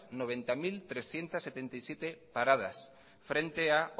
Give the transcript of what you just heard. noventa mil trescientos setenta y siete paradas frente a